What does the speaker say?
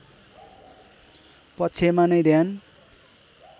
पक्षमा नै ध्यान